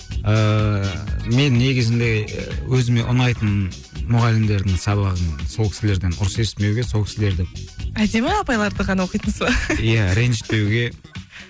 ыыы мен негізінде өзіме ұнайтын мұғалімдердің сабағын сол кісілерден ұрыс естімеуге сол кісілерді әдемі апайларды ғана оқитынсыз ба иә ренжітпеуге